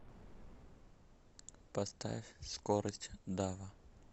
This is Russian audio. поставь скорость дава